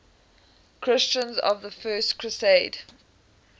christians of the first crusade